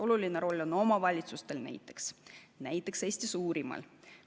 Oluline roll on omavalitsustel, näiteks Eesti suurimal omavalitsusel.